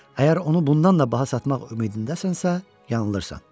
Əgər onu bundan da baha satmaq ümidindəsənsə, yanılırsan.